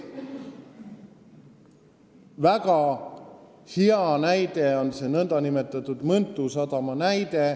Väga hea näide on Mõntu sadam.